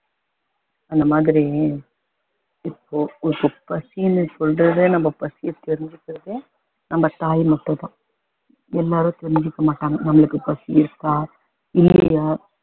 அந்தமாதிரி இப்போ உனக்கு பசின்னு சொல்றதே நம்ம பசிய தெரிஞ்சுக்கிறதே நம்ம தாய் மட்டும் தான் எல்லாரும் தெரிஞ்சுக்க மாட்டாங்க நமக்கு பசி இருக்கா இல்லையா